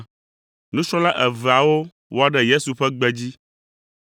Nusrɔ̃la eveawo wɔ ɖe Yesu ƒe gbe dzi,